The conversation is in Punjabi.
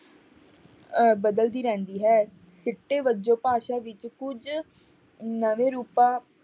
ਅਹ ਬਦਲਦੀ ਰਹਿੰਦੀ ਹੈ ਸਿੱਟੇ ਵਜੋਂ ਭਾਸ਼ਾ ਵਿੱਚ ਕੁੱਝ ਨਵੇਂ ਰੂਪਾਂ